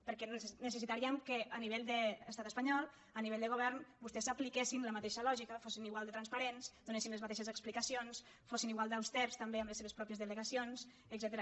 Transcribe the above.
perquè necessitaríem que a nivell de l’estat espanyol a nivell de govern vostès apliquessin la mateixa lògica fossin igual de transparents donessin les mateixes explicacions fossin igual d’austers també amb les seves pròpies delegacions etcètera